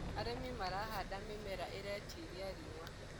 arĩmi marahanda mĩmera iretĩĩria riũa